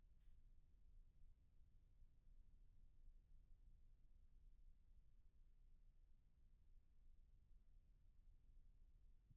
Rikka hélt áfram að lita gula páskalilju.